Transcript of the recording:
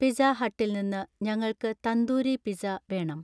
pizza ഹട്ടിൽ നിന്ന് ഞങ്ങൾക്ക് തന്തൂരി പിസ്സ വേണം